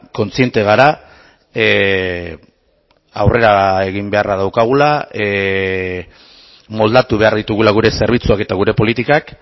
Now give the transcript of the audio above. kontziente gara aurrera egin beharra daukagula moldatu behar ditugula gure zerbitzuak eta gure politikak